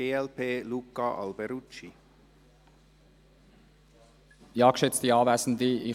Die BDP unterstützt aus diesem Grund die Motion.